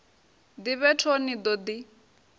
ḓivhe toe ni ḓo ḓi